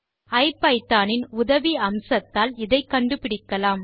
ஐபிதான் இன் உதவி அம்சத்தால் இதை கண்டுபிடிக்கலாம்